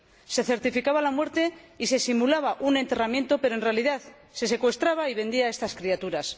Se certificaba la muerte y se simulaba un enterramiento, pero, en realidad, se secuestraba y vendía a estas criaturas.